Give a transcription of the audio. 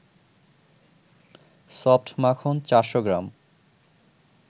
soft মাখন ৪০০ গ্রাম